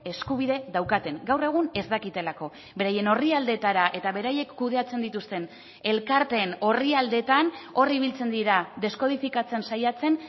eskubide daukaten gaur egun ez dakitelako beraien orrialdeetara eta beraiek kudeatzen dituzten elkarteen orrialdeetan hor ibiltzen dira deskodifikatzen saiatzen